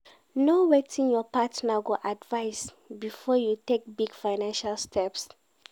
Know wetin your partner go advice before you take big financial steps